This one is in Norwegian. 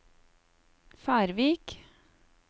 Færvik